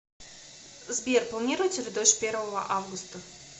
сбер планируется ли дождь первого августа